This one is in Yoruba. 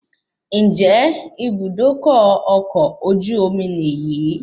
Ǹjẹ́ Ibùdókọ̀ ọkọ̀ ojú omi ní yìí?